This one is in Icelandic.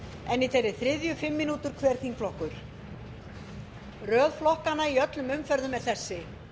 en í þeirri þriðju fimm mínútur hver þingflokkur röð flokkanna í öllum umferðum er þessi